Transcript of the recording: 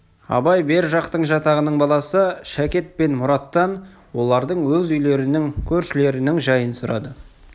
абай бер жақтың жатағының баласы шәкет пен мұраттан олардың өз үйлерінің көршілерінің жайын сұрады